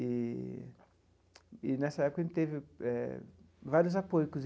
Eee e, nessa época, a gente teve eh vários apoios.